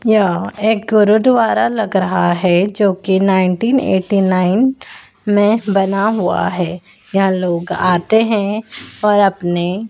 यह एक गुरुद्वारा लग रहा है जो कि नाइनटीन एटी नाइन में बना हुआ है। यहां लोग आते हैं और अपने--